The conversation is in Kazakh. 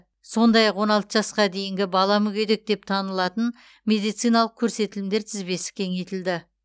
сондай ақ он алты жасқа дейінгі бала мүгедек деп танылатын медициналық көрсетілімдер тізбесі кеңейтілді